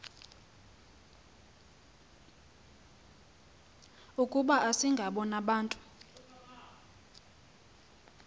ukuba asingabo nabantu